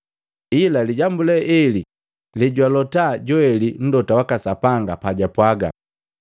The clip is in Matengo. Ila lijambu le eli lejwalota Joeli Mlota waka Sapanga pajwapwaga,